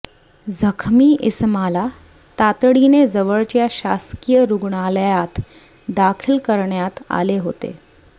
जखमी इसमाला तातडीने जवळच्या शासकीय रुग्णालयात दाखल करण्यात आले होते